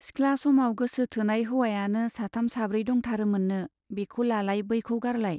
सिख्ला समाव गोसो थोनाय हौवायानो साथाम साब्रै दंथारोमोननो, बेखौ लालाय बैखौ गारलाय।